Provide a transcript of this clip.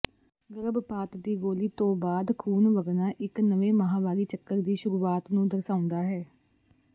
ਗਰਭਪਾਤ ਦੀ ਗੋਲੀ ਤੋਂ ਖੂਨ ਵਗਣਾ ਇਕ ਨਵੇਂ ਮਾਹਵਾਰੀ ਚੱਕਰ ਦੀ ਸ਼ੁਰੂਆਤ ਨੂੰ ਦਰਸਾਉਂਦਾ ਹੈ